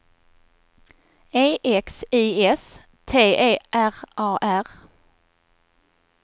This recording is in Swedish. E X I S T E R A R